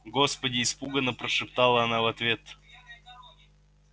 господи испуганно прошептала она в ответ